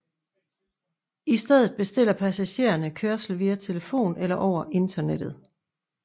I stedet bestiller passagerne kørslen via telefon eller over internettet